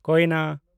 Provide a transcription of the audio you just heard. ᱠᱳᱭᱱᱟ